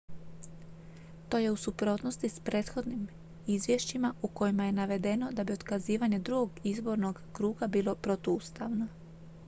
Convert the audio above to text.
to je u suprotnosti s prethodnim izvješćima u kojima je navedeno da bi otkazivanje drugog izbornog kruga bilo protuustavno